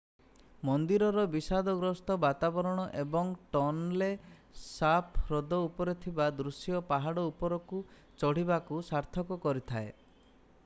ମନ୍ଦିରର ବିଷାଦଗ୍ରସ୍ତ ବାତାବରଣ ଏବଂ ଟନଲେ ସାପ୍ ହ୍ରଦ ଉପରେ ଥିବା ଦୃଶ୍ୟ ପାହାଡ ଉପରକୁ ଚଢ଼ିବାକୁ ସାର୍ଥକ କରିଥାଏ